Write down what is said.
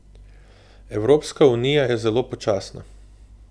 Evropska unija je zelo počasna.